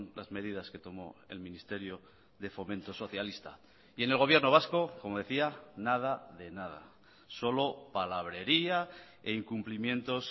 las medidas que tomó el ministerio de fomento socialista y en el gobierno vasco como decía nada de nada solo palabrería e incumplimientos